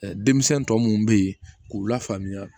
denmisɛn tɔ munnu be yen k'u lafaamuya